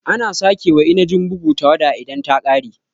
Ana sake cika wa Inajin bugu tawada idan ta ƙare